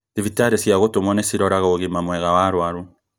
Thibitarĩ cia gũtũmwo nĩ ciroraga ũgima mwega wa arwaru